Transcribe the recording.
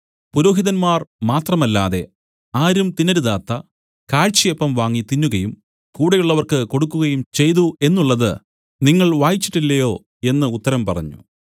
പുരോഹിതന്മാർ മാത്രമല്ലാതെ ആരും തിന്നരുതാത്ത കാഴ്ചയപ്പം വാങ്ങി തിന്നുകയും കൂടെയുള്ളവർക്ക് കൊടുക്കുകയും ചെയ്തു എന്നുള്ളത് നിങ്ങൾ വായിച്ചിട്ടില്ലയോ എന്നു ഉത്തരം പറഞ്ഞു